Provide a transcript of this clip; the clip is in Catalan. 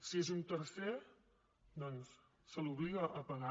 si és un tercer doncs se l’obliga a pagar